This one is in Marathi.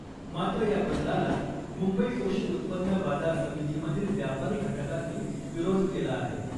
मात्र या बदलाला मुंबई कृषी उत्पन्न बाजार समितीमधील व्यापारी घटकांनी विरोध केला आहे .